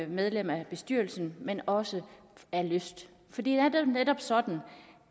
medlem af bestyrelsen men også af lyst for det er netop sådan